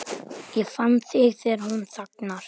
Ég finn þegar hún þagnar.